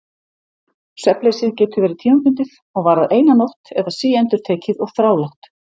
Svefnleysið getur verið tímabundið og varað eina nótt eða síendurtekið og þrálátt.